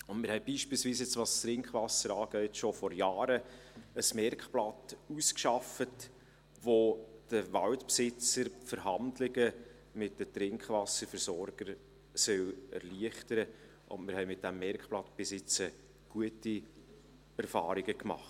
Wir haben, was das Trinkwasser anbelangt, beispielsweise schon vor Jahren ein Merkblatt ausgearbeitet, das den Waldbesitzern die Verhandlungen mit den Trinkwasserversorgern erleichtern soll, und wir haben mit diesem Merkblatt bisher gute Erfahrungen gemacht.